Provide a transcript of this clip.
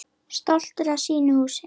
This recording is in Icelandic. Stoltur af sínu húsi.